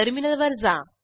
टर्मिनलवर जा